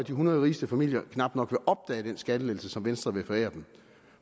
hundrede rigeste familier knap nok opdage den skattelettelse som venstre vil forære dem